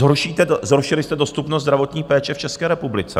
Zhoršili jste dostupnost zdravotní péče v České republice.